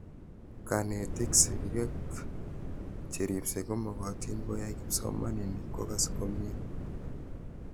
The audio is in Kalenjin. Kanetik, sigik ak cheripsei komakatin koyai kipsomanik kokas komie